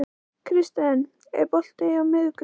Kirsten, er bolti á miðvikudaginn?